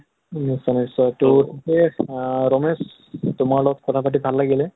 নিশ্চয় নিশ্চয় নিশ্চয় । তʼ ৰমেশ তোমাৰ লগত কথা পাতি ভাল লাগিলে ।